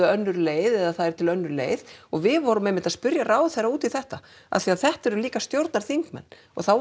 önnur leið eða það er til önnur leið og við vorum einmitt að spurja ráðherra út í þetta af því að þetta eru líka stjórnarþingmenn og þá